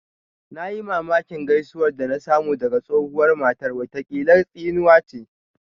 Na yi mamakin gaisuwar da na samu daga tsohuwar matar, watakila tsinuwa ce